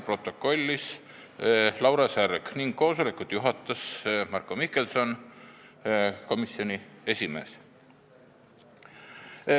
Protokollis Laura Särg ning koosolekut juhatajas Marko Mihkelson, komisjoni esimees.